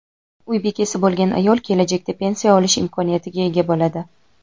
uy bekasi bo‘lgan ayol kelajakda pensiya olish imkoniyatiga ega bo‘ladi.